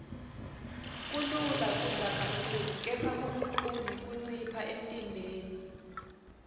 kulula kudla kakhulu kepha kulukhuni kuncipha emntimbeni